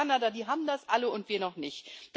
Japan, Kanada, die haben das alle und wir noch nicht.